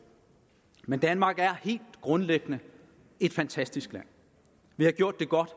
men danmark er helt grundlæggende et fantastisk land vi har gjort det godt